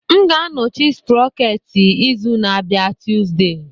M ga-anọchi sprocket izu na-abịa Tuesday